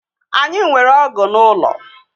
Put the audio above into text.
Anyị nwere ọgụ n'ụlọ